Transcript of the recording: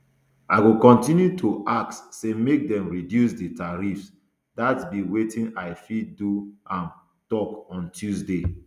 i go kontinu to ask say make dem reduce di tariffs dat be wetin i fit do im tok on tuesday